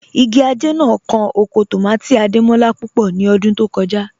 Ìgì ajẹ̀ náà kàn ọkọ̀ tómátì̀ Adémọlá púpọ̀ ní ọ̀dún tó kọja